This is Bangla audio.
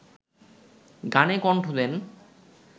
গানে কণ্ঠ দেন